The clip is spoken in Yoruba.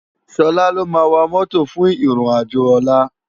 Sola ló má wá mòtó fún iron ájó òlá